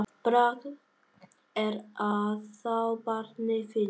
Bragð er að þá barnið finnur!